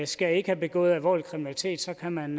skal ikke have begået alvorlig kriminalitet så kan man